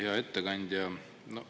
Hea ettekandja!